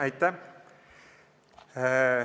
Aitäh!